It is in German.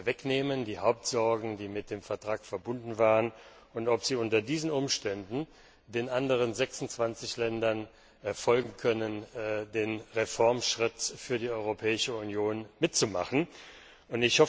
wegnehmen die Hauptsorgen, die mit dem Vertrag verbunden waren und ob sie unter diesen Umständen den anderen 26 Ländern folgen und den Reformschritt für die Europäische Union mitmachen kann.